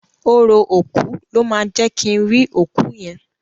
Orò òkú ló máa jẹ́ kin rí òkú yẹn.